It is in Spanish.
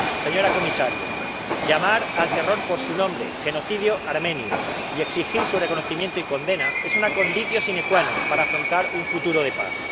Señora Comisaria, llamar al terror por su nombre —genocidio armenio— y exigir su reconocimiento y condena es una conditio sine qua non para afrontar un futuro de paz.